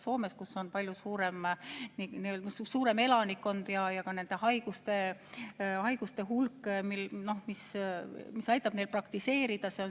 Soomes on palju suurem elanikkond ja ka haiguste hulk on suurem, see aitab seal praktiseerida.